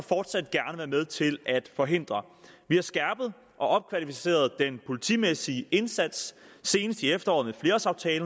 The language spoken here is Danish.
fortsat gerne være med til at forhindre vi har skærpet og opkvalificeret den politimæssige indsats senest i efteråret